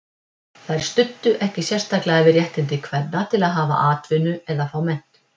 Þær studdu ekki sérstaklega við réttindi kvenna til að hafa atvinnu eða fá menntun.